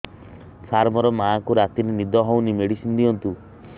ସାର ମୋର ମାଆଙ୍କୁ ରାତିରେ ନିଦ ହଉନି ମେଡିସିନ ଦିଅନ୍ତୁ